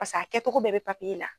Pas'a kɛcogo bɛɛ bɛ la.